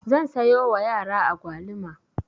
Zan sayo wa yara agwaluma.